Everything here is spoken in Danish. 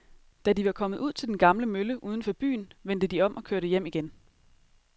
Da de var kommet ud til den gamle mølle uden for byen, vendte de om og kørte hjem igen.